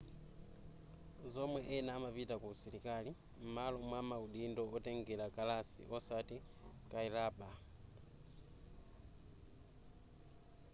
zomwezo ena amapita ku usilikali m'malo mwa maudindo otengera kalasi osati cailaber